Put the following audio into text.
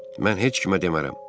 Mən heç kimə demərəm.